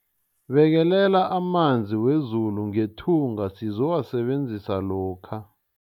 Bekelela amanzi wezulu ngethunga sizowasebenzisa lokha.